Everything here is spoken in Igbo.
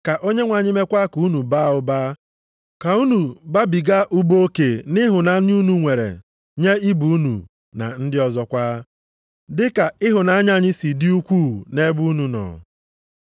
Ka Onyenwe anyị meekwa ka unu baa ụba, ka unu babiga ụba oke nʼịhụnanya unu nwere nye ibe unu, na ndị ọzọkwa, dị ka ịhụnanya anyị si dị ukwuu nʼebe unu nọ.